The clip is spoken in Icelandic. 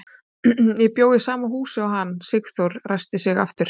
Ég bjó í sama húsi og hann, Sigþóra ræskti sig aftur.